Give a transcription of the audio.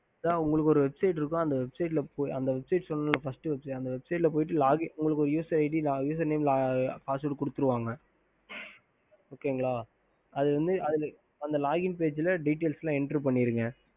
ஹம்